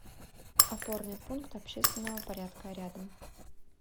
опорный пункт общественного порядка рядом